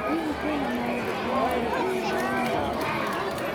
hihi kwĩna maũndũ o mothe karenda-inĩ mweri ũyũ